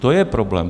To je problém.